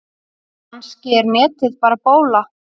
Kannski er netið bara bóla.